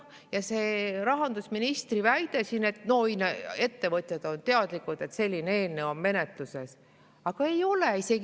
Ja see rahandusministri väide, et ettevõtjad on teadlikud, et selline eelnõu on menetluses – aga ei ole!